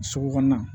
Sugu kɔnɔna